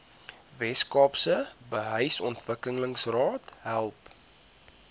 weskaapse behuisingsontwikkelingsraad help